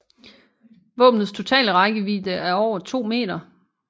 Våbnets totale rækkevidde er over 2 meter